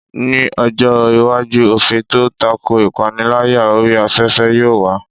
Ní ọjọ́ iwájú, òfin tó tako ìpániláyà orí afẹ́fẹ́ yóò wà.